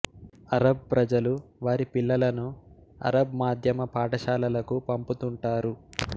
Arab ప్రజలు వారి పిల్లలను అరబ్ మాధ్యమ పాఠశాలలకు పంపుతుంటారు